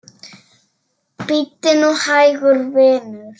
Bíddu nú hægur, vinur.